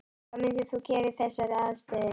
Hvað myndir þú gera í þessari aðstöðu?